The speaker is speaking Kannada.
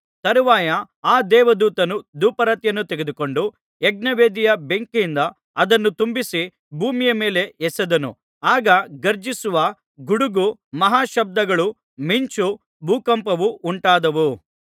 ತರುವಾಯ ಆ ದೇವದೂತನು ಧೂಪಾರತಿಯನ್ನು ತೆಗೆದುಕೊಂಡು ಯಜ್ಞವೇದಿಯ ಬೆಂಕಿಯಿಂದ ಅದನ್ನು ತುಂಬಿಸಿ ಭೂಮಿಯ ಮೇಲೆ ಎಸೆದನು ಆಗ ಗರ್ಜಿಸುವ ಗುಡುಗು ಮಹಾಶಬ್ದಗಳು ಮಿಂಚು ಭೂಕಂಪವು ಉಂಟಾದವು